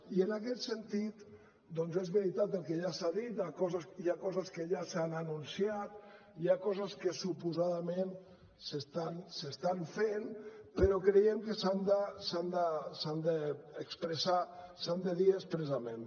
i en aquest sentit doncs és veritat el que ja s’ha dit hi ha coses que ja s’han anunciat hi ha coses que suposadament s’estan fent però creiem que s’han de dir expressament